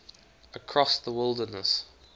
across the wilderness